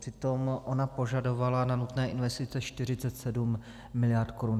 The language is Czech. Přitom ona požadovala na nutné investice 47 miliard korun.